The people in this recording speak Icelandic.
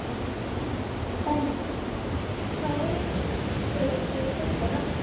Benný, hvað heitir þú fullu nafni?